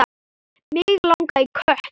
Mig langaði í kött.